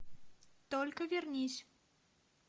только вернись